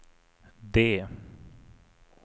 D